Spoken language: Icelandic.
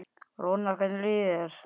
Rúnar, hvernig líður þér?